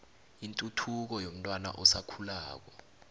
ituthuko yomntwana osakhulako